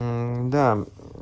мм да